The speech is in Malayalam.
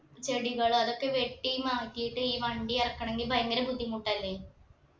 ചെടികൾ അതൊക്കെ വെട്ടി മാറ്റിട്ട് ഈ വണ്ടി ഇറക്കണെങ്കിൽ ഭയങ്കര ബുദ്ധിമുട്ടല്ലേ